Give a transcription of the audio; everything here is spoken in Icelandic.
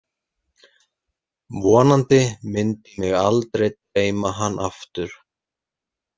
Vonandi myndi mig aldrei dreyma hann aftur.